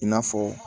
I n'a fɔ